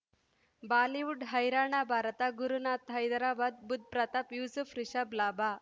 Bollywood ಹೈರಾಣ ಭಾರತ ಗುರುನಾಥ ಹೈದರಾಬಾದ್ ಬುಧ್ ಪ್ರತಾಪ್ ಯೂಸುಫ್ ರಿಷಬ್ ಲಾಭ